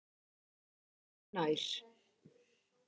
Nei öðru nær.